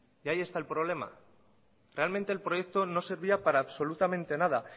y ahí está el problema realmente el proyecto no servía para absolutamente nada